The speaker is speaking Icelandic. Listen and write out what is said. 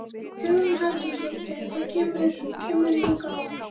Hugrún Halldórsdóttir: Og hvað kemurðu hingað oft?